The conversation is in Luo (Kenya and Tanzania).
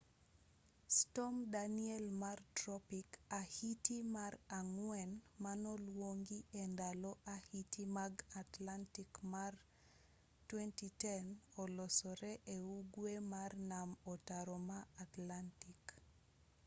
storm danielle mar tropik ahiti mar ang'wen manoluongi e ndalo ahiti mag atlantic ma 2010 olosore e ugwe mar nam ataro ma atlantic